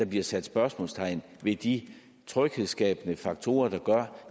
bliver sat spørgsmålstegn ved de tryghedsskabende faktorer der gør